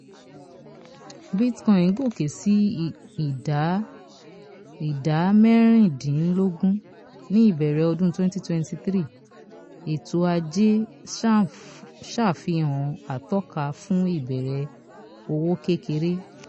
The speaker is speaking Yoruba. bitcoin gòkè sí ìdá ìdá mẹ́rìndínlógún ní ìbẹ̀rẹ̀ ọdún twenty twenty three ètò ajé ṣàfihàn atọ́ka fún ìbẹ̀rẹ̀ òwò kékeré.